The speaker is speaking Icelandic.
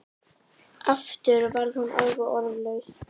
Aftur varð hún alveg orðlaus.